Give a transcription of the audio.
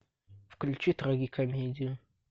включи трагикомедию